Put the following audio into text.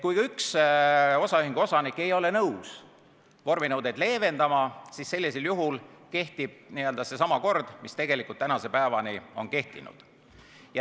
Kui ka üks osaühingu osanik ei ole nõus vorminõudeid leevendama, sellisel juhul kehtib seesama kord, mis tänase päevani on kehtinud.